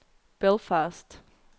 Belfast